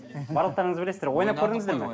барлықтарыңыз білесіздер ойнап көрдіңіздер ме